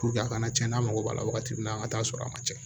a kana cɛn n'a mago b'a la wagati min na an ga taa sɔrɔ a ma cɛn